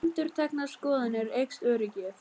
Við endurteknar skoðanir eykst öryggið.